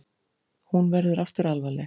Hún verður aftur alvarleg.